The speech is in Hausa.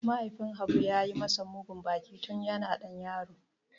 Mahaifin Habu ya yi masa mugun baki tun yana ɗan yaro.